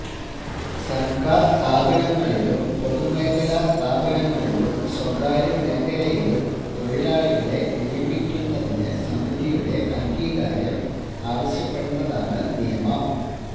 സർക്കാർ സ്ഥാപനങ്ങളിലും പൊതുമേഖലാ സ്ഥാപനങ്ങളിലും സ്വകാര്യ മേഖലയിലും തൊഴിലാളികളെ നിയമിക്കുന്നതിന് സമിതിയുടെ അംഗീകാരം ആവശ്യപ്പെടുന്നതാണ് നിയമം